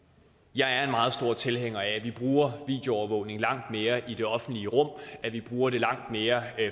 jeg er en meget stor tilhænger af at vi bruger videoovervågning langt mere i det offentlige rum at vi bruger det langt mere